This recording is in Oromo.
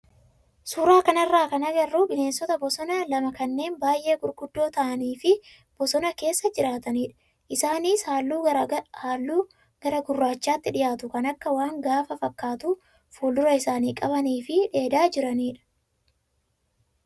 Suuraa kanarraa kan agarru bineensota bosonaa lama kanneen baay'ee gurguddoo ta'anii fi bosona keessa jiraatanidha. Isaanis halluu gara gurraachaatti dhiyaatu kan akka waan gaafa fakkaatu fuuldura isaanii qabanii fi dheedaa jiranidha.